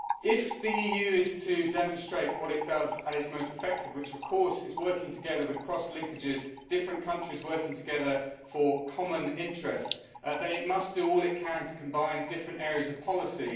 If the EU is to demonstrate what it does at its most effective, which is working together with cross linkages and having different countries work together for their common interest, then it must do all it can do combine different areas of policy.